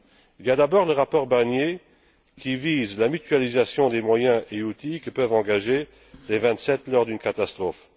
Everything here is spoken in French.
Il y a d'abord le rapport Barnier, qui vise la mutualisation des moyens et outils que peuvent engager les vingt sept lors d'une catastrophe.